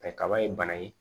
kaba ye bana ye